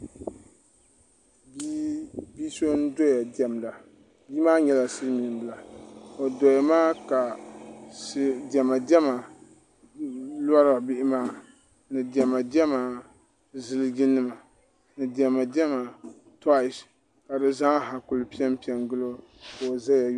bia so n doya diɛmda bia maa nyɛla dilmiin bila o doya maa ka Diɛma diɛma lora bihi maa diɛma diɛma ziliji nima ni diɛma diɛma tois ka bi zaaha ku piɛpiɛ n gili ka o ʒɛya lihira